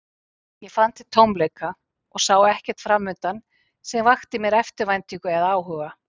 Ég fann til tómleika og sá ekkert framundan sem vakti mér eftirvæntingu eða áhuga.